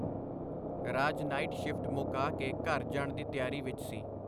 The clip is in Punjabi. ਰਾਜ ਨਾਈਟ-ਸ਼ਿਫਟ ਮੁਕਾ ਕੇ ਘਰ ਜਾਣ ਦੀ ਤਿਆਰੀ ਵਿਚ ਸੀ.